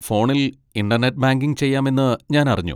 ഫോണിൽ internet banking ചെയ്യാമെന്ന് ഞാൻ അറിഞ്ഞു.